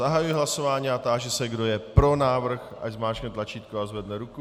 Zahajuji hlasování a táži se, kdo je pro návrh, ať zmáčkne tlačítko a zvedne ruku.